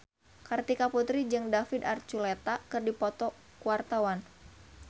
Kartika Putri jeung David Archuletta keur dipoto ku wartawan